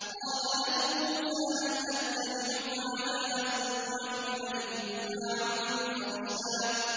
قَالَ لَهُ مُوسَىٰ هَلْ أَتَّبِعُكَ عَلَىٰ أَن تُعَلِّمَنِ مِمَّا عُلِّمْتَ رُشْدًا